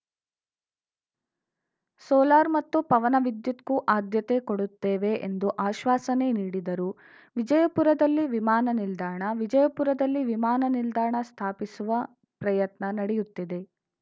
solar ಮತ್ತು ಪವನವಿದ್ಯುತ್‌ಗೂ ಆದ್ಯತೆ ಕೊಡುತ್ತೇವೆ ಎಂದು ಆಶ್ವಾಸನೆ ನೀಡಿದರು ವಿಜಯಪುರದಲ್ಲಿ ವಿಮಾನ ನಿಲ್ದಾಣ ವಿಜಯಪುರದಲ್ಲಿ ವಿಮಾನ ನಿಲ್ದಾಣ ಸ್ಥಾಪಿಸುವ ಪ್ರಯತ್ನ ನಡೆಯುತ್ತಿದೆ